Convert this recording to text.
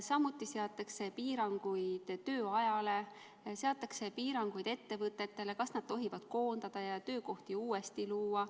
Samuti seatakse piiranguid tööajale, seatakse piiranguid ettevõtetele, kas nad tohivad koondada ja töökohti uuesti luua.